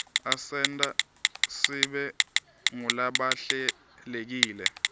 asenta sibe ngulabahlelekile